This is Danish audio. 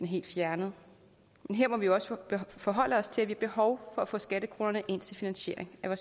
helt fjernet men her må vi jo også forholde os til at vi har behov for at få skattekronerne ind til finansiering af